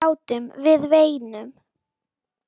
Við grátum, við veinum.